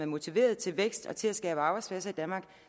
motiveret til vækst og til at skabe arbejdspladser i danmark